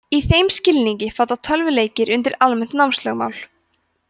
í þeim skilningi falla tölvuleikir undir almennt námslögmál